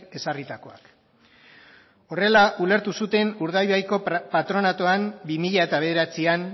ezarritakoak horrela ulertu zuten urdaibaiko patronatuan bi mila bederatzian